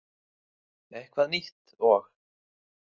Eitthvað nýtt og.